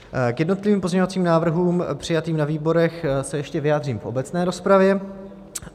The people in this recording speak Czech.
K jednotlivým pozměňovacím návrhům přijatým na výborech se ještě vyjádřím v obecné rozpravě.